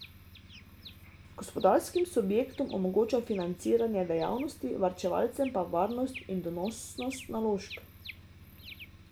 Gospodarskim subjektom omogoča financiranje dejavnosti, varčevalcem pa varnost in donosnost naložb.